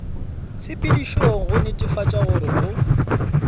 tshepedišong go netefatša gore go